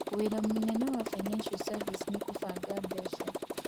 Wĩra mũnene wa Financial Services nĩ kũbanga mbeca.